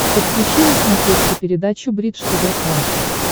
подключи на смотрешке передачу бридж тв классик